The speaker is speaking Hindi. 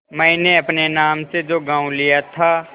मैंने अपने नाम से जो गॉँव लिया था